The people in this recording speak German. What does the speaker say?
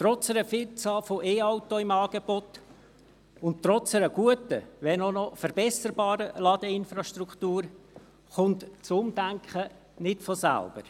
Trotz einer Vielzahl von E-Autos im Angebot und trotz einer guten, wenn auch noch verbesserbaren Ladeinfrastruktur kommt das Umdenken nicht von selbst.